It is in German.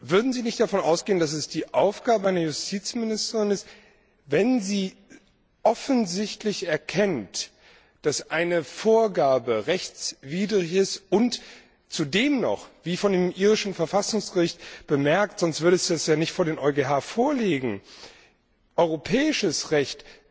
Würden Sie nicht davon ausgehen, dass es die Aufgabe einer Justizministerin ist, wenn sie offensichtlich erkennt, dass eine Vorlage rechtswidrig ist und zudem noch wie von dem irischen Verfassungsgericht bemerkt, sonst würde es dem EuGH ja nicht vorliegen europäischem Recht